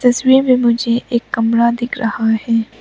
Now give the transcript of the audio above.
तस्वीर में मुझे एक कमरा दिख रहा है।